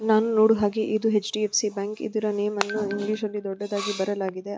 ನಾನು ನೋಡಿದ ಹಾಗೆ ಇದಿ H D F C bank ಇದರ ನೇಮನ್ನು ಇಂಗ್ಲೀಷಲ್ಲಿ ದೊಡ್ಡದಾಗಿ ಬರೆಯಲಾಗಿದೆ.